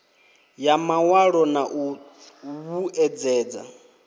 ya mawalo na u vhuedzedza